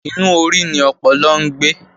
Inú orí ni ọpọlọ ń gbé